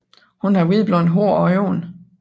Hun har hvidblondt hår og blå øjne